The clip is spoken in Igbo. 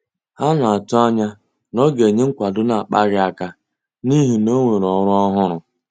Ha na-atụanya na ọ ga-enye nkwado na-akpaghị aka n'ihi na onwere ọrụ ọhụrụ.